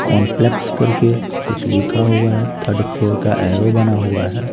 Complex करके कुछ लिखा हुआ है थर्ड फ्लोर का एरो बना हुआ है।